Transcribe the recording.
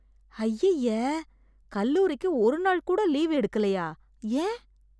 ஐய்யய, கல்லூரிக்கு ஒரு நாள் கூட லீவு எடுக்கலயா? ஏன்?